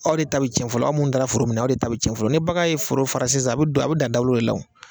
Aw de ta bɛ tiɲɛ fɔlɔ aw mun taara foro minɛ aw de ta bɛ tiɲɛ fɔlɔ, ni bagan ye foro fara sisan a be don a be da dagolo le la o.